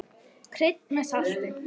Kryddið með salti.